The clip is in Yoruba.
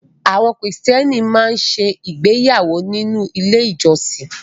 Àwọn Kìrìtẹ́ẹ́nì máa ń ṣe ìgbéyàwó nínú ilé-ìjọsìn.